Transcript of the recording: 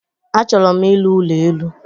Achọrọ m ịrụ ụlọ elu